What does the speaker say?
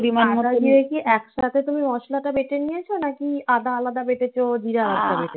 একসাথে তুমি মশলাটা বেটে নিয়েছো? নাকি আদা আলাদা বেটেছো? জিরা বেটেছো?